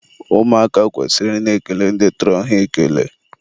ụmụaka kwesịrị ị na-ekele ndị tọrọ ha ekele.